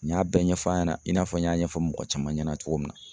N y'a bɛɛ ɲɛfɔ a ɲɛna i n'a fɔ n y'a ɲɛfɔ mɔgɔ caman ɲɛna cogo min na.